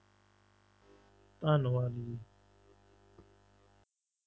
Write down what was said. ਧੰਨਵਾਦ ਜੀ।